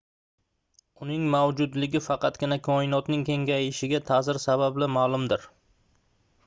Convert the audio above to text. uning mavjudligi faqatgina koinotning kengayishiga taʼsiri sababli maʼlumdir